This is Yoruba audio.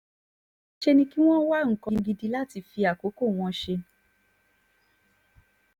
níṣẹ́ ni kí wọ́n wá nǹkan gidi láti fi àkókò wọn ṣe